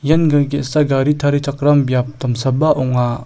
ian gesa gari tarichakram biap damsaba ong·a.